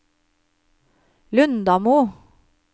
Lundamo